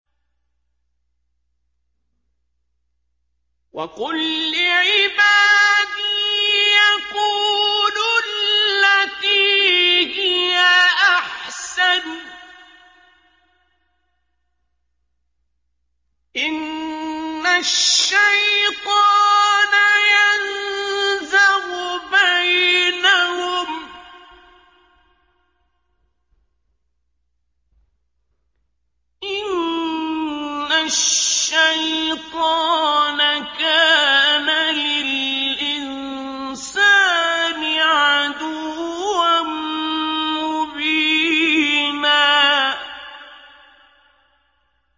وَقُل لِّعِبَادِي يَقُولُوا الَّتِي هِيَ أَحْسَنُ ۚ إِنَّ الشَّيْطَانَ يَنزَغُ بَيْنَهُمْ ۚ إِنَّ الشَّيْطَانَ كَانَ لِلْإِنسَانِ عَدُوًّا مُّبِينًا